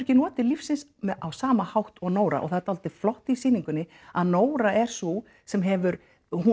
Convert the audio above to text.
ekki notið lífsins á sama hátt og Nóra og það er dálítið flott í sýningunni að Nóra er sú sem hefur